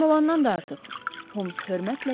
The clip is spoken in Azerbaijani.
Lazım olandan da artıq Holmes hörmətlə dedi.